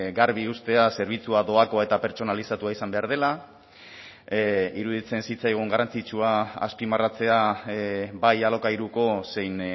garbi uztea zerbitzua doakoa eta pertsonalizatua izan behar dela iruditzen zitzaigun garrantzitsua azpimarratzea bai alokairuko zein